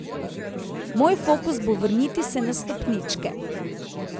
Moj fokus bo vrniti se na stopničke.